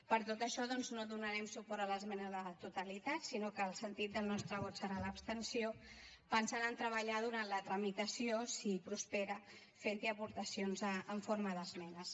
per tot això doncs no donarem suport a l’esmena a la totalitat sinó que el sentit del nostre vot serà l’abstenció pensant a treballar durant la tramitació si prospera fent hi aportacions en forma d’esmenes